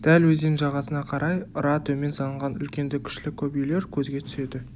дәл өзен жағасына қарай ыра төмен салынған үлкенді-кішілі көп үйлер көзге түседі